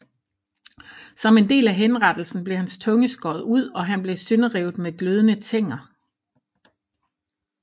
Som en del af henrettelsen blev hans tunge skåret ud og han blev sønderrevet med glødende tænger